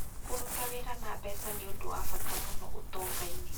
Kũruta wĩra na mbeca nĩ ũndũ wa bata mũno ũtonga-inĩ.